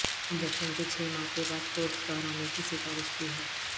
injection کے چھ ماہ کے بعد کورس دہرانے کی سفارش کی ہے